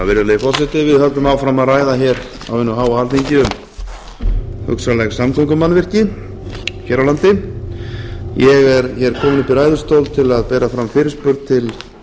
virðulegi forseti við höldum áfram að ræða hér á hinu háa alþingi um hugsanleg samgöngumannvirki hér á landi ég er hér kominn upp í ræðustól til að bera fram fyrirspurn til